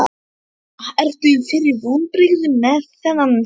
Erla: Ertu fyrir vonbrigðum með þennan fjölda?